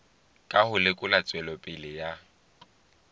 ka ho lekola tswelopele ya